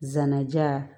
Zanaja